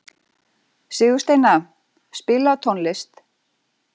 Sigursteina, spilaðu tónlist.